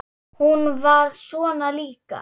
Hún var svona líka.